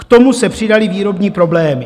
K tomu se přidaly výrobní problémy.